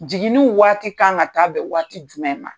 Jiginniw waati kan ka taa bɛn waati jumɛn ma.